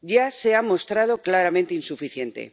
Ya se ha mostrado claramente insuficiente.